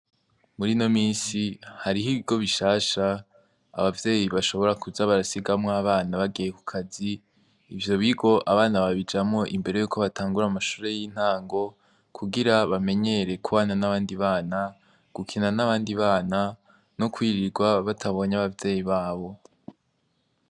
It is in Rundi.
Muri ino minsi, hariho ibigo bishasha abavyeyi bashobora kuza barasigamwo abana bagiye kukazi. Ivyo bigo, abana babijamwo imbere y'uko batangura amashure y'intango, kugira bamenyere kubana n'abandi bana, gukina n'abandi bana no kwirirwa batabonye abavyeyi babo.